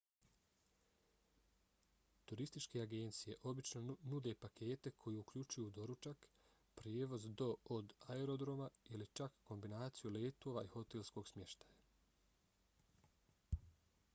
turističke agencije obično nude pakete koji uključuju doručak prijevoz do/od aerodroma ili čak kombinaciju letova i hotelskog smještaja